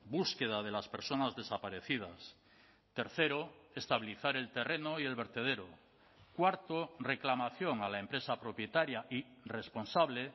búsqueda de las personas desaparecidas tercero estabilizar el terreno y el vertedero cuarto reclamación a la empresa propietaria y responsable